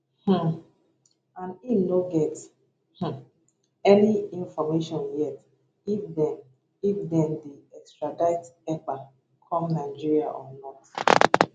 um and im no get um any information yet if dem if dem dey extradite ekpa come nigeria or not